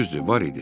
Düzdür, var idi.